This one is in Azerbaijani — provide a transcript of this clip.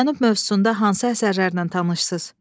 Cənub mövzusunda hansı əsərlərlə tanışsız?